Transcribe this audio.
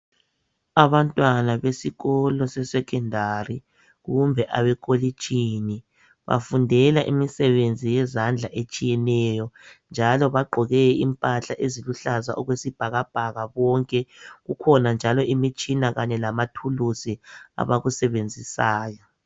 Abantwana besikolo se"Secondary " kumbe abekolitshini bafundela imisebenzi yezandla etshiyeneyo njalo bagqoke impahla eziluhlaza okwesibhakabhaka bonke, kukhona njalo imitshina kanye lamathuluzi abakusebenzisayo.